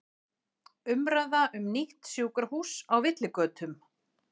Umræða um nýtt sjúkrahús á villigötum